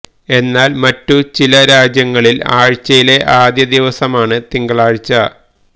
എന്നാൽ മറ്റു ചില രാജ്യങ്ങളിൽ ആഴ്ചയിലെ ആദ്യ ദിവസമാണ് തിങ്കളാഴ്ച